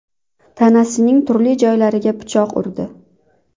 tanasining turli joylariga pichoq urdi.